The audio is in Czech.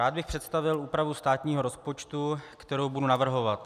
Rád bych představil úpravu státního rozpočtu, kterou budu navrhovat.